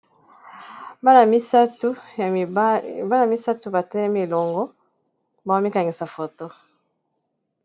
Bana misato ba telemi elongo baomikangisa foto.